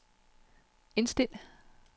indstil